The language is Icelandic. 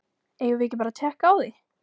Eigum við ekki bara að tékka á því?